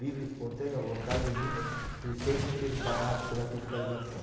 Livre, espontânea vontade minha, pensei em ser barrado pela fiscalização.